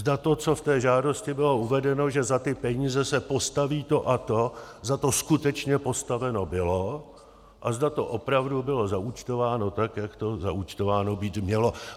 Zda to, co v té žádosti bylo uvedeno, že za ty peníze se postaví to a to, za to skutečně postaveno bylo a zda to opravdu bylo zaúčtováno tak, jak to zaúčtováno být mělo.